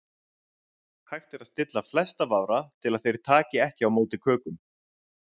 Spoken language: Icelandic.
Hægt er að stilla flesta vafra til að þeir taki ekki á móti kökum.